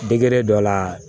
Degere dɔ la